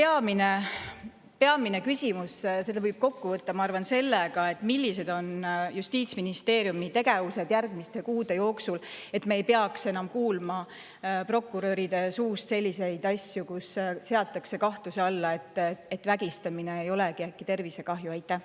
Aga peamine küsimus, millega võib selle kokku võtta, ma arvan: millised on justiitsministeeriumi tegevused järgmiste kuude jooksul, et me ei peaks enam kuulma prokuröride suust, et seatakse selliseid asju kahtluse alla,, et vägistamine ei äkki tervisekahju?